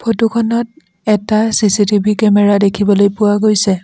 Photo খনত এটা CCTV camera দেখিবলৈ পোৱা গৈছে।